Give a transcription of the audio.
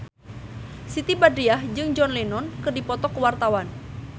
Siti Badriah jeung John Lennon keur dipoto ku wartawan